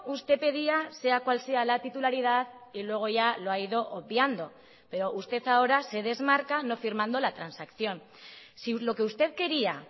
usted pedía sea cual sea la titularidad y luego ya lo ha ido obviando pero usted ahora se desmarca no firmando la transacción si lo que usted quería